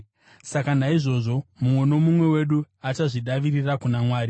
Saka, naizvozvo mumwe nomumwe wedu achazvidavirira kuna Mwari.